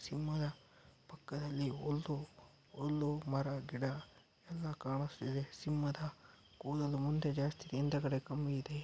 ಸಿಂಹದ ಪಕ್ಕದಲ್ಲಿ ಒಂದು ಒಂದು ಮರ ಗಿಡ ಎಲ್ಲಾ ಕಾಣಿಸ್ತಿದೆ ಸಿಂಹದ ಕೂದಲು ಮುಂದೆ ಜಾಸ್ತಿ ಹಿಂದೆಗಡೆ ಕಮ್ಮಿ ಇದೆ.